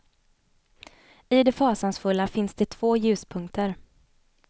I det fasansfulla finns det två ljuspunkter.